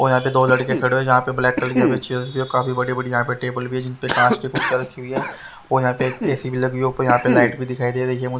और यहां पर दो लड़के खड़े हुए हैं जहां पर ब्लैक कलर की यहां पर चेयर भी है काफी बड़ी बड़ी टेबल भी जिसपे कांच की टेबल लगी हुई है और यहां पे ऐ_सी भी लगी हुई है यहां पर लाइट भी लगी हुई है।